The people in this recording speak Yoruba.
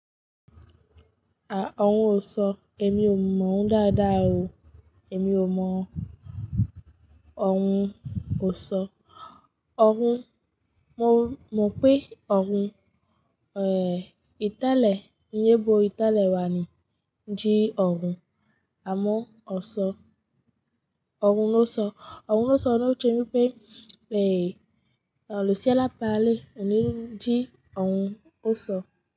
À, ọ̀run ọ̀sọ̀ ẹ̀mi ò mọ̀ ọ́n dáadáa o. Ẹ̀mi ò mọ̀ ọ̀run ọ̀sọ̀. Ọ̀run, mò mọ̀ pé ọ̀run, eh, ìtálẹ́, iyẹ́bo ìtálẹ́ wa ni jí ọ̀run, àmọ́ ọ̀sọ̀, ọ̀run ọ̀sọ̀, ọ̀run ọ̀sọ̀ ni ó ṣe wí pé, eh, ọ̀lúṣẹ́ alápá lé, òní jí ọ̀run ọ̀sọ̀